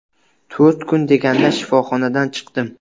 To‘rt kun deganda shifoxonadan chiqdim.